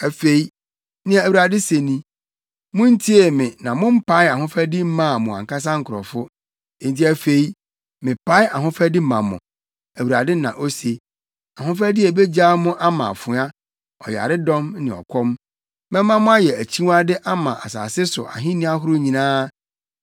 “Afei nea Awurade se ni: Muntiee me na mompaee ahofadi mmaa mo ankasa nkurɔfo. Enti afei mepae ‘ahofadi’ ma mo, Awurade na ose. ‘Ahofadi’ a ebegyaa mo ama afoa, ɔyaredɔm ne ɔkɔm. Mɛma moayɛ akyiwade ama asase so ahenni ahorow nyinaa.